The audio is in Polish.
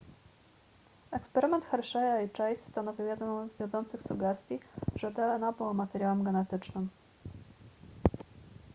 eksperyment hersheya i chase stanowił jedną z wiodących sugestii że dna było materiałem genetycznym